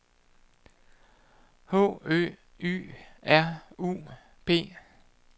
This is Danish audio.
H Ø Y R U P